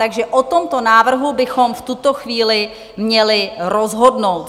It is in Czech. Takže o tomto návrhu bychom v tuto chvíli měli rozhodnout.